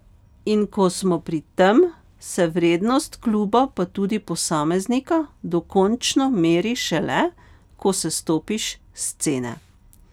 In ko smo pri tem, se vrednost kluba pa tudi posameznika dokončno meri šele ko sestopiš s scene.